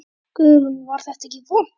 Guðrún: Var þetta ekki vont?